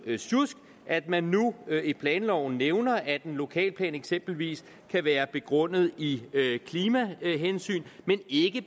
sjusk at man nu i planloven nævner at en lokalplan eksempelvis kan være begrundet i klimahensyn men ikke